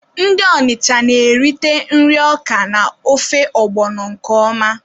Ndị Ọnịcha na-erite nri Ọka na ofe ọgbọnọ nke ọma.